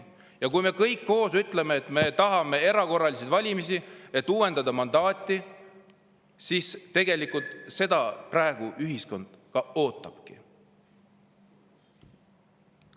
Me peaksime kõik koos ütlema, et me tahame erakorralisi valimisi, et uuendada mandaati, sest tegelikult seda praegu ühiskond ootabki.